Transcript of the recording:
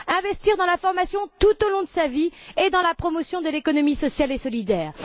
Il faut investir dans la formation tout au long de la vie et dans la promotion de l'économie sociale et solidaire.